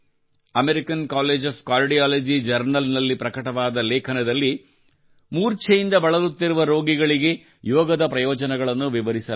American college of cardiology ಜರ್ನಲ್ನಲ್ಲಿ ಪ್ರಕಟವಾದ ಲೇಖನದಲ್ಲಿ ಮೂರ್ಛೆಯಿಂದ ಬಳಲುತ್ತಿರುವ ರೋಗಿಗಳಿಗೆ ಯೋಗದ ಪ್ರಯೋಜನಗಳನ್ನು ವಿವರಿಸಲಾಗಿದೆ